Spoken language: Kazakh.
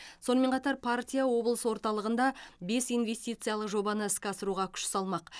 сонымен қатар партия облыс орталығында бес инвестициялық жобаны іске асыруға күш салмақ